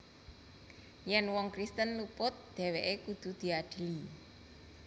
Yèn wong Kristen luput dhèwèké kudu diadili